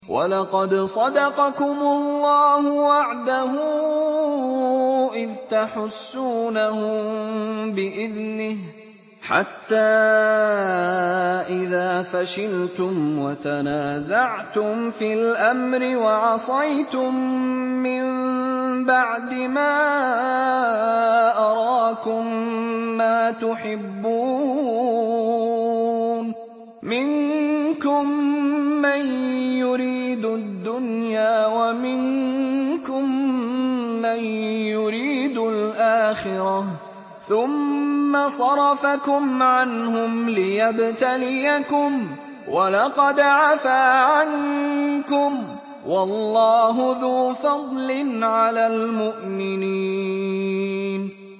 وَلَقَدْ صَدَقَكُمُ اللَّهُ وَعْدَهُ إِذْ تَحُسُّونَهُم بِإِذْنِهِ ۖ حَتَّىٰ إِذَا فَشِلْتُمْ وَتَنَازَعْتُمْ فِي الْأَمْرِ وَعَصَيْتُم مِّن بَعْدِ مَا أَرَاكُم مَّا تُحِبُّونَ ۚ مِنكُم مَّن يُرِيدُ الدُّنْيَا وَمِنكُم مَّن يُرِيدُ الْآخِرَةَ ۚ ثُمَّ صَرَفَكُمْ عَنْهُمْ لِيَبْتَلِيَكُمْ ۖ وَلَقَدْ عَفَا عَنكُمْ ۗ وَاللَّهُ ذُو فَضْلٍ عَلَى الْمُؤْمِنِينَ